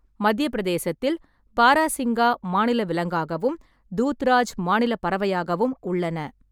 மத்திய பிரதேசத்தில் பாராசிங்கா மாநில விலங்காகவும், தூத்ராஜ் மாநில பறவையாகவும் உள்ளன.